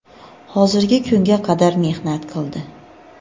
hozirgi kunga qadar mehnat qildi.